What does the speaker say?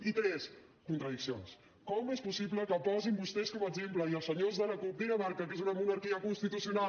i tres contradiccions com és possible que posin vostès com a exemple i els senyors de la cup dinamarca que és una monarquia constitucional